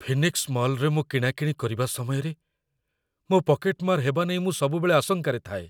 'Phoenix ମଲ୍'ରେ ମୁଁ କିଣାକିଣି କରିବା ସମୟରେ ମୋ ପକେଟମାର୍ ହେବା ନେଇ ମୁଁ ସବୁବେଳେ ଆଶଙ୍କାରେ ଥାଏ।